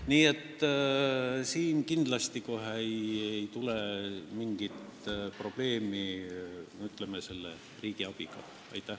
Nii et siin kindlasti ei tule mingit probleemi võimaliku riigiabi küsimusega.